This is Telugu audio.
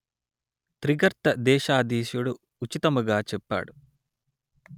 త్రిగర్త దేశాధీసుడు ఉచితముగా చెప్పాడు